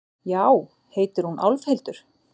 Já, heitir hún Álfhildur?